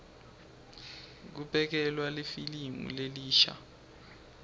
kubukelwa lifilimu lelisha